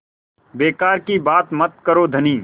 बेकार की बात मत करो धनी